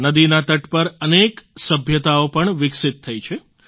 નદીના તટ પર અનેક સભ્યતાઓ પણ વિકસિત થઈ છે